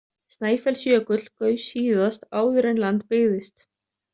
Snæfellsjökull gaus síðast áður en land byggðist.